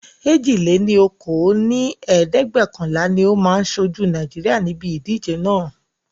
èjì-lé-ní-okòó dín ní ẹ̀ẹ́dẹ́gbẹ́ọ̀kànlá ni ó máa ṣojú Naijiria níbi ìdíje naa